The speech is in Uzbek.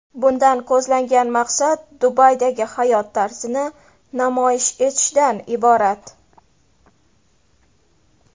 Bundan ko‘zlangan maqsad Dubaydagi hayot tarzini namoyish etishdan iborat.